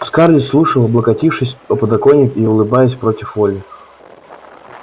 скарлетт слушала облокотившись о подоконник и улыбаясь против воли